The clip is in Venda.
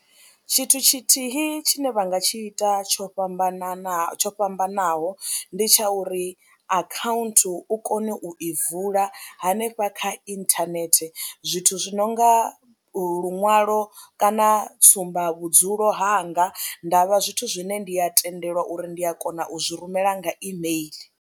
Tshithu tshithihi tshine vha nga tshi ita tsho fhambananaho tsho fhambanaho ndi tsha uri akhaunthu u kone u i vula hanefha kha inthanethe zwithu zwi no nga luṅwalo kana tsumba vhudzulo hanga nda vha zwithu zwine ndi a tendelwa uri ndi a kona u zwi rumela nga email.